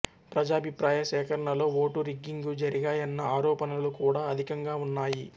ప్రజాభిప్రాయ సేకరణలో vote rigging జరిగాయన్న ఆరోపణలు కూడా అధికంగా ఉన్నాయి